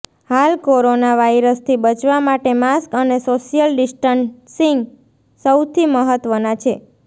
હાલ કોરોના વાયરસથી બચવા માટે માસ્ક અને સોશિયલ ડિસ્ટન્સિંગ સૌથી મહત્વના છે